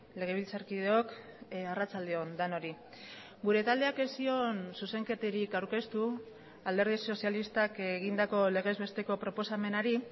legebiltzarkideok arratsalde on denoi gure taldeak ez zion zuzenketarik aurkeztu alderdi sozialistak egindako legezbesteko proposamenari